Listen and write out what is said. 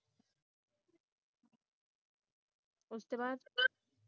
ਉਸਦੇ ਬਾਅਦ